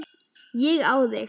Ég á þig.